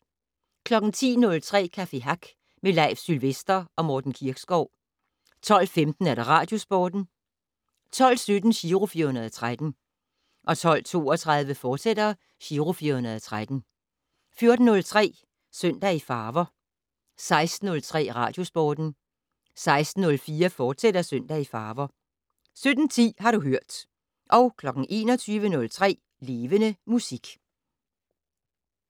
10:03: Café Hack med Leif Sylvester og Morten Kirkskov 12:15: Radiosporten 12:17: Giro 413 12:32: Giro 413, fortsat 14:03: Søndag i farver 16:03: Radiosporten 16:04: Søndag i farver, fortsat 17:10: Har du hørt 21:03: Levende Musik